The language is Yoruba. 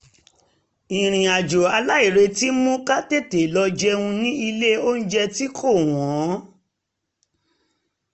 ìrìn-àjò aláìretí mú ká tete lọ jẹun ní ilé onjẹ tí kò wọ́n